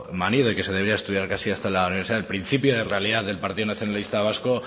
manido y que se debería estudiar hasta casi en la universidad el principio de realidad del partido nacionalista vasco